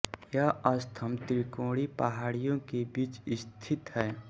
यह स्थम त्रिकोणी पहाड़ियों के बीच स्थित है